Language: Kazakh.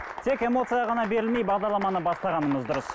тек эмоцияға ғана берілмей бағдарламаны бастағанымыз дұрыс